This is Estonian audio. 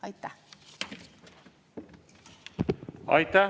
Aitäh!